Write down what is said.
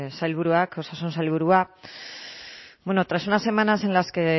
sailburuak osasun sailburua tras unas semanas en las que